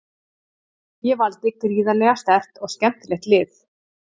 Ég valdi gríðarlega sterkt og skemmtilegt lið.